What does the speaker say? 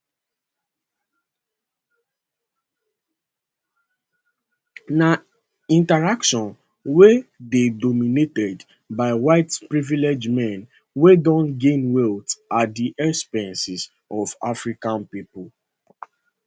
na interaction wey dey dominated by white privileged men wey don gain wealth at di expense of african pipo